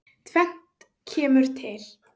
Tvennt kemur til.